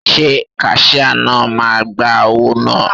Ṣé kaṣíá náà máa gba owó náà?